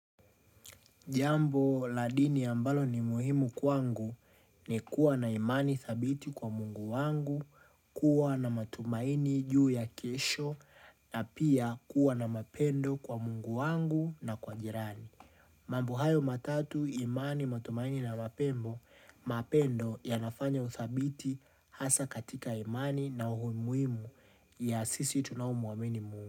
Jambo la dini ambalo ni muhimu kwangu ni kuwa na imani thabiti kwa Mungu wangu, kuwa na matumaini juu ya kesho na pia kuwa na mapendo kwa Mungu wangu na kwa jirani. Mambo hayo matatu imani, matumaini na mapembo, mapendo yanafanya uthabiti hasa katika imani na uhu muhimu ya sisi tunaomuamini Mungu.